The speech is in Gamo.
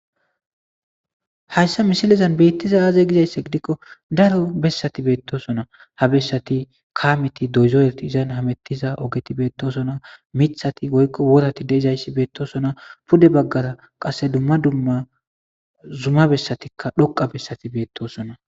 Hayssa misilizan beettiza aaze gizaysse gidikko daro bessati beettosona , ha bessati kaameti doyzoreti izan hamettiza ogeti beettosona mithati goykko worati deezayssi beettosona pude baggara qasse dumma dumma zumma bessatikka dhoqa bessati beettosona.